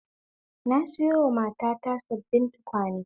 Na sayowa matata sabbin tukwane